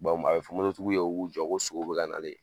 a bɛ fɔ tigiw ye o k'u jɔ ko sow bɛ ka nalen.